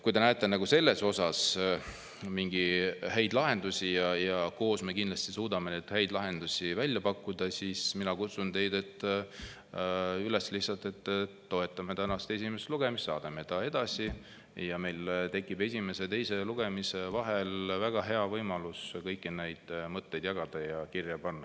Kui te näete selles osas mingeid häid lahendusi – ja koos me kindlasti suudame häid lahendusi välja pakkuda –, siis mina lihtsalt kutsun teid üles, et toetame tänast esimest lugemist, saadame edasi ja meil tekib esimese ja teise lugemise vahel väga hea võimalus kõiki neid mõtteid jagada ja kirja panna.